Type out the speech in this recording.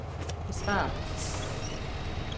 besvar